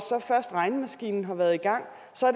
først regnemaskinen har været i gang